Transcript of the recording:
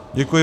Děkuji.